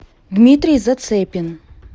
дмитрий зацепин